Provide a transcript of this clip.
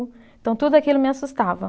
Então, tudo aquilo me assustava.